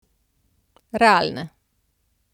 Realne.